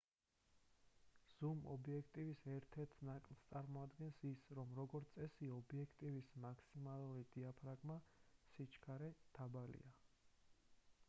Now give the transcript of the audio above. ზუმ ობიექტივის ერთ-ერთ ნაკლს წარმოადგენს ის რომ როგორც წესი ობიექტივის მაქსიმალური დიაფრაგმა სიჩქარე დაბალია